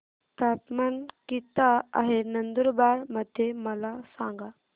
तापमान किता आहे नंदुरबार मध्ये मला सांगा